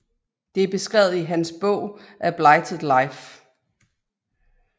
Det er beskrevet i hendes bog A Blighted Life